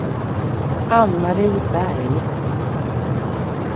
Ann-Marie Berg